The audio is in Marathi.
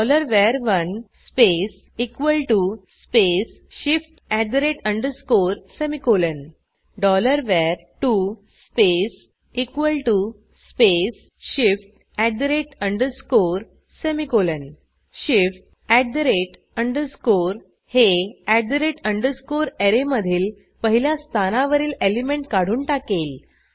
var1 space space shift semicolon var2 space space shift semicolon shift हे ऍरेमधील पहिल्या स्थानावरील एलिमेंट काढून टाकेल